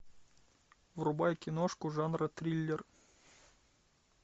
врубай киношку жанра триллер